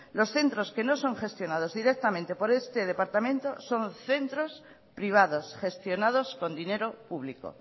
los centros que no son gestionados directamente por este departamento son centros privados gestionados con dinero público